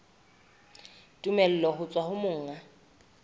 tumello ho tswa ho monga